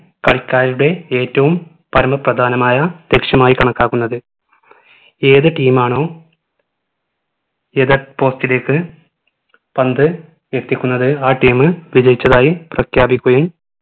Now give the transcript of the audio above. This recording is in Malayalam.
കളിക്കാരുടെ ഏറ്റവും പരമപ്രധാനമായ ലക്ഷ്യമായി കണക്കാക്കുന്നത് ഏത്‌ team മാണോ എതിർ post ലേക്ക് പന്തു എത്തിക്കുന്നത് ആ team വിജയിച്ചതായി പ്രഖ്യാപിക്കുകയും